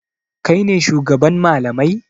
Kai ne shugaban malamai?